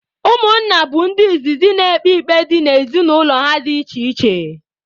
Ụmụnna bụ ndị izizi na-ekpe ikpe dị n'ezinụlọ ha dị iche iche